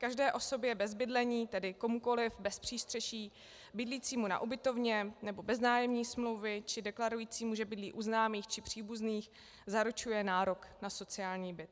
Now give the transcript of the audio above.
Každé osobě bez bydlení, tedy komukoli bez přístřeší bydlícímu na ubytovně nebo bez nájemní smlouvy či deklarujícímu, že bydlí u známých či příbuzných, zaručuje nárok na sociální byt.